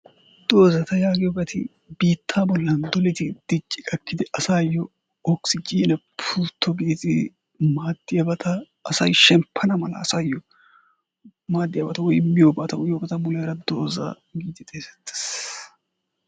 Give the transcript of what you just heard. Doozata yaagiyoobati biitta bolla dicci gakkidi asayo okissijinne pultto gidid maadiyaabata asay shemppana mala asayyo maaddiyaabata woy miyoobata uyyiyoobata muleera dooza giid xessettes.